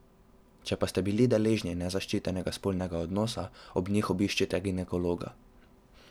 Če pa ste bili deležni nezaščitenega spolnega odnosa, ob njih obiščite ginekologa.